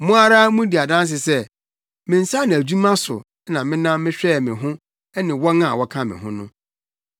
Mo ara mudi adanse sɛ, me nsa ano adwuma so na menam mehwɛɛ me ho ne wɔn a wɔka me ho no.